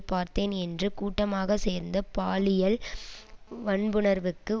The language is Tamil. பார்த்தேன் என்று கூட்டமாக சேர்ந்து பாலியல் வன்புணர்வுக்கு